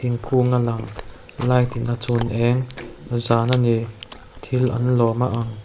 thingkung a lang light in a chhun eng zan a ni thil an lawm a ang.